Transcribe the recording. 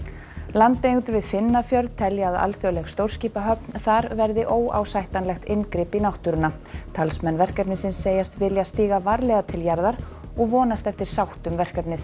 landeigendur við telja að alþjóðleg stórskipahöfn þar verði óásættanlegt inngrip í náttúruna talsmenn verkefnisins segjast vilja stíga varlega til jarðar og vonast eftir sátt um verkefnið